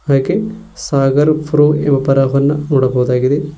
ಹಾಗೆ ಸಾಗರ್ ಪ್ರೊ ಯುಪರವನ್ನ ನೋಡಬಹುದಾಗಿದೆ.